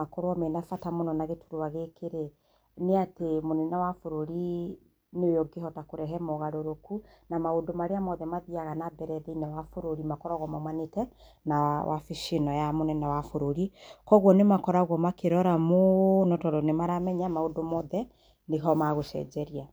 makorwo na bata mũno na gĩturwa gĩkĩ nĩ atĩ mũnene wa bũrũri nĩwe ũngĩhota kũrehe mogarũrũku, na maũndũ marĩa mothe mathiaga thĩiniĩ wa bũrũri makoragwo maũmanĩte na wabici ĩno ya mũnene wa bũrũri, koguo nĩ makoragũo makĩrora mũno tondũ nĩ maramenya maũndũ mothe, nĩho magũcenjeria.